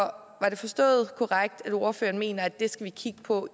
er det forstået korrekt at ordføreren mener at det skal vi kigge på